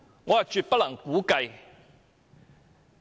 我絕對無法估計。